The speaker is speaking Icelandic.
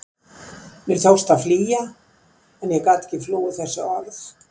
Mér tókst að flýja en ég gat ekki flúið þessi orð.